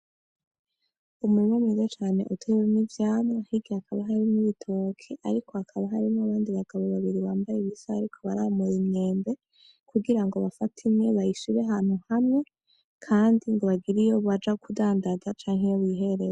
Umurima mwiza cane wuzuyemwo ivyamwa ariko hakaba harimwo ibitoke ariko hakaba harimwo abandi bagabo babiri bambaye ibisa bariko baramura imyembe kugira bafate imwe bayishire ahantu hamwe Kandi ngo bagire iyo Baja kudandaza canke iyo bihereza.